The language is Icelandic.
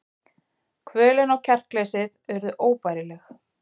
Kvölin og kjarkleysið urðu óbærileg.